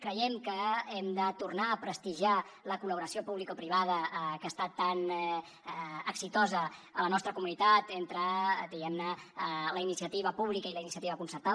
creiem que hem de tornar a prestigiar la col·laboració publicoprivada que ha estat tan exitosa a la nostra comunitat entre diguem ne la iniciativa pública i la iniciativa concertada